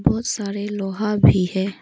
बहोत सारे लोहा भी है।